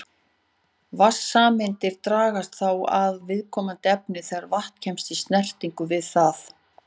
Vatnssameindirnar dragast þá að viðkomandi efni þegar vatn kemst í snertingu við það.